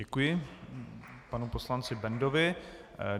Děkuji panu poslanci Bendovi.